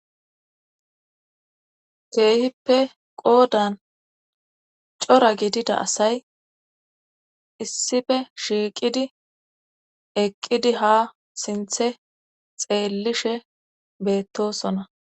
keehippe qoodan cora gidida asay issife shiiqidi eqqidi ha sinthe xeellishe beettosona